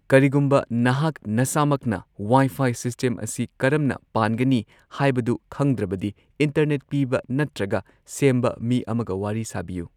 ꯀꯔꯤꯒꯨꯝꯕ ꯅꯍꯥꯛ ꯅꯁꯥꯃꯛꯅ ꯋꯥꯏ ꯐꯥꯏ ꯁꯤꯁꯇꯦꯝ ꯑꯁꯤ ꯀꯔꯝꯅ ꯄꯥꯟꯒꯅꯤ ꯍꯥꯢꯕꯗꯨ ꯈꯪꯗ꯭ꯔꯕꯗꯤ ꯏꯟꯇꯔꯅꯦꯠ ꯄꯤꯕ ꯅꯠꯇ꯭ꯔꯒ ꯁꯦꯝꯕ ꯃꯤ ꯑꯃꯒ ꯋꯥꯔꯤ ꯁꯥꯕꯤꯌꯨ꯫